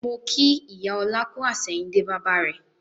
Mo kí ìyá ọlá kú àsẹ̀yìndè bàbà rẹ